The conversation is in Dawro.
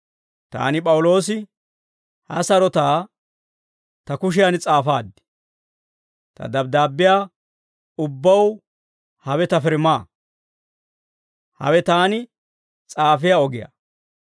Taani P'awuloosi, ha sarotaa ta kushiyan s'aafaad; ta dabddaabbiyaa ubbaw hawe ta firmaa. Hawe taani s'aafiyaa ogiyaa.